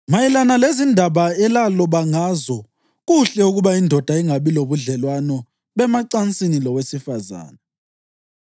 Mayelana lezindaba elaloba ngazo: “Kuhle ukuba indoda ingabi lobudlelwano bemacansini lowesifazane.”